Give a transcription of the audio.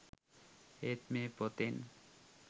ඒත් මේ පොතෙන්